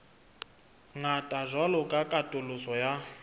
ngata jwalo ka katoloso ya